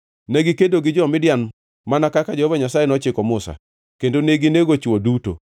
Negikedo gi Midian, mana kaka Jehova Nyasaye nochiko Musa, kendo neginego chwo duto.